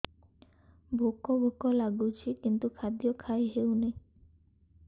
ଭୋକ ଭୋକ ଲାଗୁଛି କିନ୍ତୁ ଖାଦ୍ୟ ଖାଇ ହେଉନି